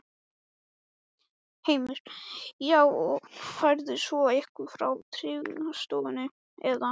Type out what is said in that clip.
Heimir: Já, og færð svo eitthvað frá Tryggingastofnun eða?